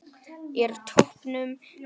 Er toppnum náð?